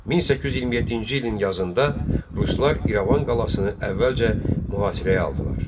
1827-ci ilin yazında ruslar İrəvan qalasını əvvəlcə mühasirəyə aldılar.